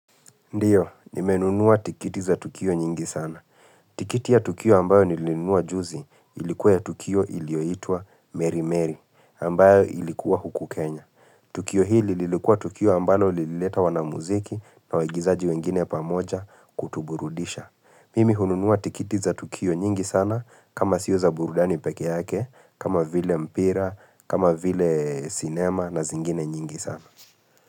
Ndiyo, nimenunua tikiti za tukio nyingi sana. Tikiti ya tukio ambayo nilinunua juzi ilikuwa ya tukio ilioitwa Mary Mary ambayo ilikuwa huku Kenya. Tukio hili lilikuwa tukio ambayo lilileta wanamuziki na waigizaji wengine pamoja kutuburudisha. Mimi hununua tikiti za tukio nyingi sana kama sio za burudani pekee yake, kama vile mpira, kama vile cinema na zingine nyingi sana.